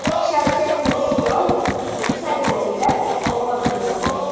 Shavkat Mirziyoyev saylovda ovoz berdi.